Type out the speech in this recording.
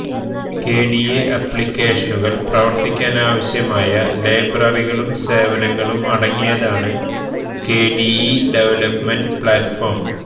KDE ആപ്ലികേഷനുകൾ പ്രവർത്തിക്കാനാവശ്യമായ ലൈബ്രറികളും സേവനങ്ങളും അടങ്ങിയതാണ് കെഡിഇ ഡെവലപ്പ്മെന്റ് പ്ലാറ്റ്ഫോം